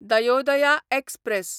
Dayodaya express